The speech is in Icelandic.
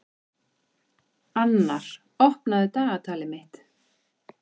Annar, opnaðu dagatalið mitt.